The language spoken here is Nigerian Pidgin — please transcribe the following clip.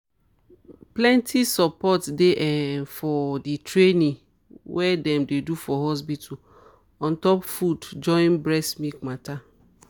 plenty support dey um for the training wey them dey do for hospital on top food join breast milk matter.